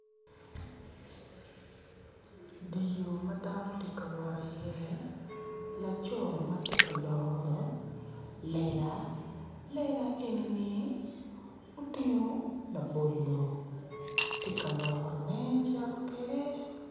Dyer yo man dano tye ka wot iye laco mati kaloro lela, lela eni-ni otingo labolo ti ka lorone cito kede